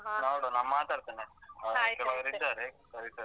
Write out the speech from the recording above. ನೋಡುವ ನಾ ಮಾತಾಡ್ತೇನೆ. ಕೆಲವರಿದ್ದಾರೆ ಕರಿತಿದಾರೆ.